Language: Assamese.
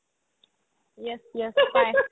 yes yes পাই